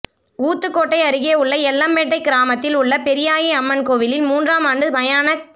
ஊத்துக்கோட்டை அருகே உள்ள எல்லம்பேட்டை கிராமத்தில் உள்ள பெரியாயி அம்மன் கோயிலில் மூன்றாம் ஆண்டு மயானக்